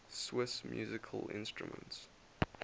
swiss musical instruments